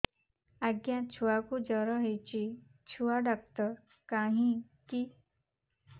ଆଜ୍ଞା ଛୁଆକୁ ଜର ହେଇଚି ଛୁଆ ଡାକ୍ତର କାହିଁ କି